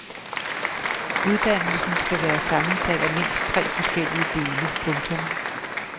Uddannelsen skal være sammensat af mindst tre forskellige dele. punktum